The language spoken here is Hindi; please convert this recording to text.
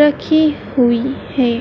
रखी हुईं हैं।